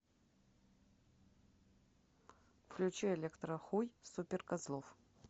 включи электрохуй суперкозлов